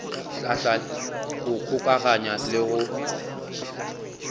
hlahla go kgokaganya le go